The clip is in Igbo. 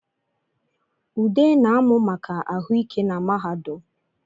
Ude na-amụ maka ahụ ike na mahadum